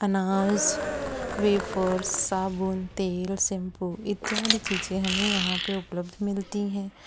नाज वेफर्स साबुन तेल शैंपू इत्यादि चीजे हमे यहां पे उपलब्ध मिलती है।